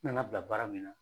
N nana bila baara min na